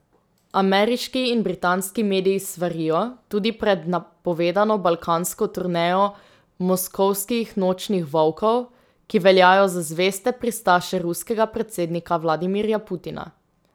Ameriški in britanski mediji svarijo tudi pred napovedano balkansko turnejo moskovskih nočnih volkov, ki veljajo za zveste pristaše ruskega predsednika Vladimirja Putina.